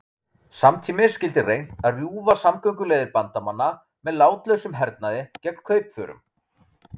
Samtímis skyldi reynt að rjúfa samgönguleiðir Bandamanna með látlausum hernaði gegn kaupförum.